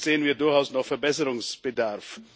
Hier sehen wir durchaus noch Verbesserungsbedarf.